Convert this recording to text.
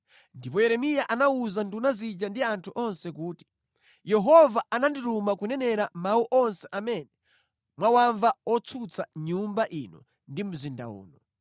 Ndipo Yeremiya anawuza nduna zija ndi anthu onse kuti, “Yehova anandituma kunenera mawu onse amene mwawamva otsutsa Nyumba ino ndi mzinda uno.